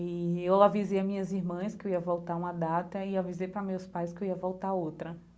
E eu avisei a minhas irmãs que eu ia voltar uma data e avisei para meus pais que eu ia voltar outra.